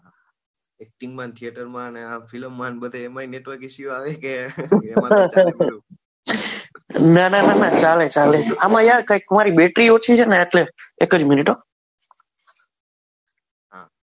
acting માં theater માં અને આ film માં ને બધાએ એમાં network issue આવે કે એમાં તો નાના નાના ચાલે ચાલે અમારે ક્યાં કંઈ તમારી બેટરી ઓછી છે ને એક જ minit હો